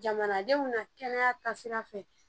Jamanadenw na kɛnɛya taa sira fɛ